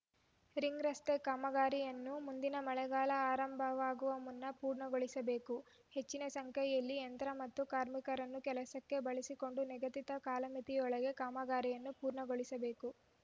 ring ರಸ್ತೆ ಕಾಮಗಾರಿಯನ್ನು ಮುಂದಿನ ಮಳೆಗಾಲ ಆರಂಭವಾಗುವ ಮುನ್ನ ಪೂರ್ಣಗೊಳಿಸಬೇಕು ಹೆಚ್ಚಿನ ಸಂಖ್ಯೆಯಲ್ಲಿ ಯಂತ್ರ ಮತ್ತು ಕಾರ್ಮಿಕರನ್ನು ಕೆಲಸಕ್ಕೆ ಬಳಸಿಕೊಂಡು ನಿಗದಿತ ಕಾಲಮಿತಿಯೊಳಗೆ ಕಾಮಗಾರಿಯನ್ನು ಪೂರ್ಣಗೊಳಿಸಬೇಕು